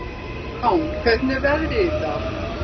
Rán, hvernig er veðrið í dag?